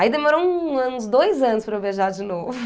Aí demorou um ãh uns dois anos para eu beijar de novo.